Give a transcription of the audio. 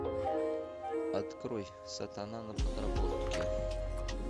открой сатана на подработке